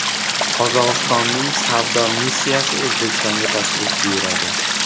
Qozog‘istonning savdo missiyasi O‘zbekistonga tashrif buyuradi.